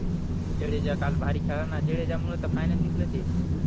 जडेजा काल भारी खेळायला ना जडेजा मुळे तर फायनल जिंकल ते